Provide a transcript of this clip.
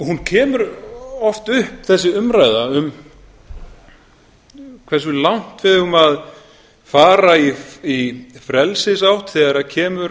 hún kemur oft upp þessi umræða hversu langt eigum við að fara í frelsisátt þegar það kemur